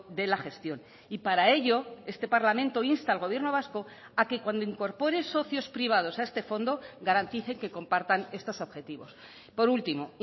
de la gestión y para ello este parlamento insta al gobierno vasco a que cuando incorpore socios privados a este fondo garantice que compartan estos objetivos por último